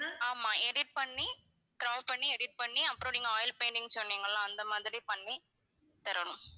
ஆமா edit பண்ணி crop பண்ணி edit பண்ணி அப்பறம் நீங்க oil painting ன்னு சொன்னீங்கல்ல அந்த மாதிரி பண்ணி தரணும்.